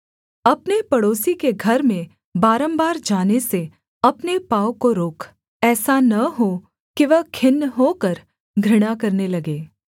अपने पड़ोसी के घर में बारम्बार जाने से अपने पाँव को रोक ऐसा न हो कि वह खिन्न होकर घृणा करने लगे